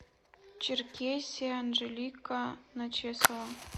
черкесия анжелика начесова